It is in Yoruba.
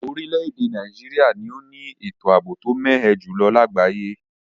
Orílèdè Naijiria ni o ni ètò àbò to mé ẹ jùlo lagbaye